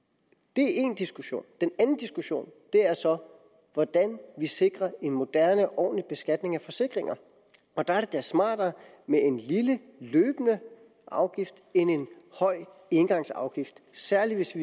det er én diskussion den anden diskussion er så om hvordan vi sikrer en moderne og ordentlig beskatning af forsikringer og der er det da smartere med en lille løbende afgift end en høj engangsafgift særlig hvis